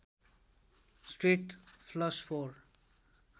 straight flush four